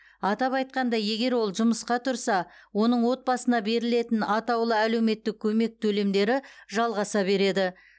атап айтқанда егер ол жұмысқа тұрса оның отбасына берілетін атаулы әлеуметтік көмек төлемдері жалғаса береді